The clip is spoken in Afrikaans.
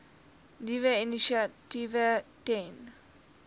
nuwe initiatiewe ten